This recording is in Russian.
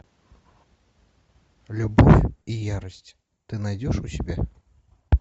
любовь и ярость ты найдешь у себя